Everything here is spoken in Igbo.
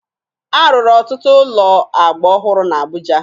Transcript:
A rụrụ ọtụtụ ụlọ agba ọhụrụ na Abuja